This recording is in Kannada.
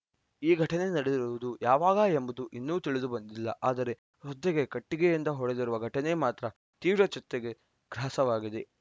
ಈ ಘಟನೆ ನಡೆದಿರುವುದು ಯಾವಾಗ ಎಂಬುದು ಇನ್ನೂ ತಿಳಿದುಬಂದಿಲ್ಲ ಆದರೆ ವೃದ್ಧೆಗೆ ಕಟ್ಟಿಗೆಯಿಂದ ಹೊಡೆದಿರುವ ಘಟನೆ ಮಾತ್ರ ತೀವ್ರ ಚರ್ಚೆಗೆ ಗ್ರಾಸವಾಗಿದೆ